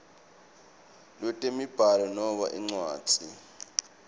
lwetemibhalo noma incwadzi